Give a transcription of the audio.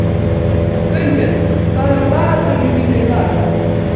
Gunnbjörn, hvað er á dagatalinu mínu í dag?